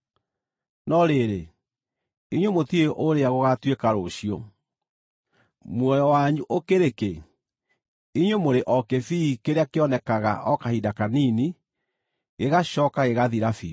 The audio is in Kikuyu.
No rĩrĩ, inyuĩ mũtiũĩ ũrĩa gũgaatuĩka rũciũ. Muoyo wanyu ũkĩrĩ kĩ? Inyuĩ mũrĩ o kĩbii kĩrĩa kĩonekaga o kahinda kanini, gĩgacooka gĩgathira biũ.